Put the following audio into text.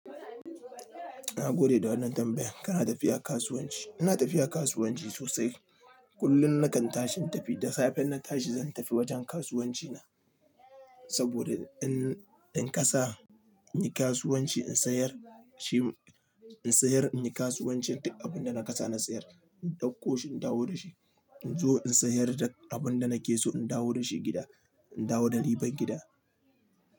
Na gode da wannan tambayan, kana tafiya kasuwanci? Ina tafiya kasuwanci sosai. Kullum nakan tashi in tafi, da safe inna tashi zan tafi wajen kasuwanci na. Saboda in, in kasa in yi kasuwanci in sayar shi, in sayar in yi kasuwanci duk abin da na kasa na sayar. In dauko shi in dawo da shi. In zo in sayar da abin da nake so in dawo da shi gida. In dawo da riban gida.